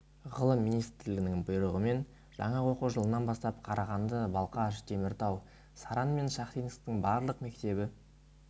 ғылым министрлігінің бұйрығымен жақа оқу жылынан бастап қарағанды балқаш теміртау саран мен шахтинсктің барлық мектебі